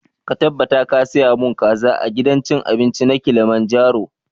Ka tabbata ka saya mun kaza a gidan cin abinci na kilimanjaro!